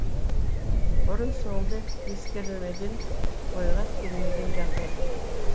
бұрын соңды ескерілмеген ойға келмеген жағдай